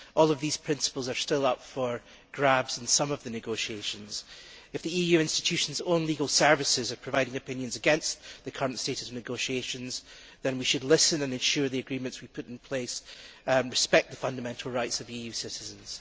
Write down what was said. All of these principles are still up for grabs in some of the negotiations. If the EU institutions' own legal services are providing opinions against the current status of negotiations, then we should listen and ensure the agreements we put in place respect the fundamental rights of EU citizens.